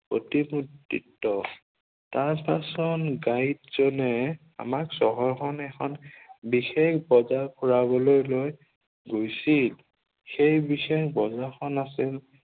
প্ৰতিমূৰ্তিত্ব। তাৰ পাছত গাইড জনে আমাক চহৰ খন এখন বিশেষ বজাৰ ফুৰাবলৈ লৈ গৈছিল। সেই বিশেষ বজাৰখন আছিল